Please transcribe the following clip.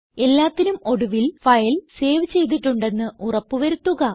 എല്ലാത്തിനും ഒടുവിൽ file save ചെയ്തിട്ടുണ്ടെന്ന് ഉറപ്പ് വരുത്തുക